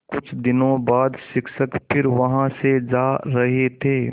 कुछ दिनों बाद शिक्षक फिर वहाँ से जा रहे थे